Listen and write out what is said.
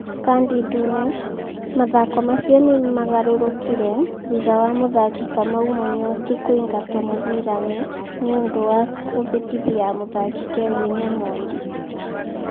Kandi ndune: Mathako macio nĩ magarũrũkire thutha wa mũthaki Kamau Mũnyotu kũingatwo mũbira-inĩ nĩ ũndũ wa kũhĩtithia mũthaki Kevin Omondi.